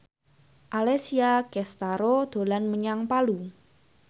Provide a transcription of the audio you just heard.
Alessia Cestaro dolan menyang Palu